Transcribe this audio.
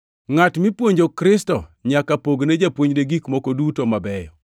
Ngʼat mipuonjo Kristo nyaka pogne japuonjne gik moko duto mabeyo.